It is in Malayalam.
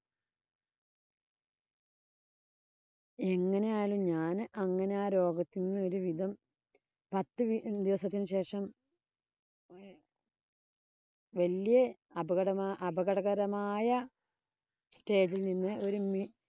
എങ്ങനെയായാലും ഞാന് അങ്ങനെ ആ രോഗത്തീന്ന് ഒരു വിധം പത്ത് ദിവസത്തിനു ശേഷം വല്യ അപകട അപകടകരമായ stage ഇല്‍ നിന്ന് ഒരു